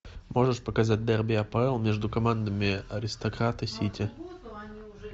можешь показать дерби апл между командами аристократы сити